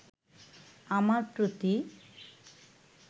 আমার প্রতি